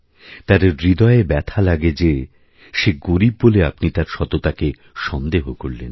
তার হৃদয়ে ব্যথা লাগে যে সে গরীব বলে আপনি তার সততাকে সন্দেহ করলেন